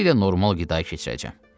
Tezliklə normal qidaya keçirəcəm.